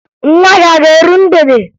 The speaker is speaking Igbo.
Nwa gị a ga-eru mgbede?